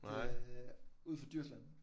Det er ud for Djursland